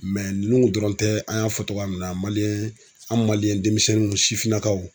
ninnu tun dɔrɔn tɛ an y'a fɔ togoya min na an denmisɛnninw sifinnakaw